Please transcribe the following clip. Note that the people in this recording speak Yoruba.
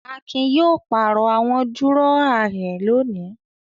Akin yóò pàrọ̀ àwọn dúrọ́à rẹ̀ lónìí.